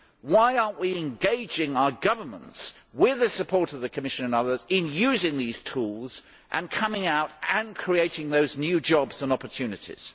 Why are we not engaging our governments, with the support of the Commission and others, in using these tools and coming out and creating those new jobs and opportunities?